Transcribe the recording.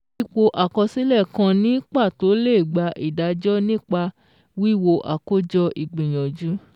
Ipò àkọsílẹ̀ kan ní pàtó lè gbà ìdájọ́ nípa wíwo àkójọ ìgbìyànjú